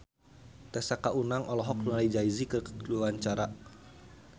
Tessa Kaunang olohok ningali Jay Z keur diwawancara